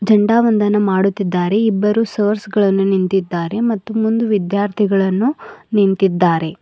ಎಂಡಾ ಒಂದನ ಮಾಡುತ್ತಿದ್ದಾರೆ ಇಬ್ಬರು ಸರ್ಸ್ ಗಳನ್ನು ನಿಂತಿದ್ದಾರೆ ಮತ್ತು ಮುಂದು ವಿದ್ಯಾರ್ಥಿಗಳನ್ನು ನಿಂತಿದ್ದಾರೆ.